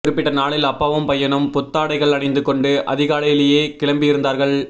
குறிப்பிட்ட நாளில் அப்பாவும் பையனும் புத்தாடைகள் அணிந்து கொண்டு அதிகாலையிலே கிளம்பியிருந்தார்கள்